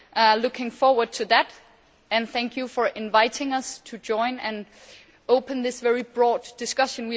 I am looking forward to that and thank you for inviting us to join in this very broad discussion.